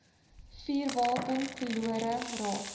vuurwapen verlore raak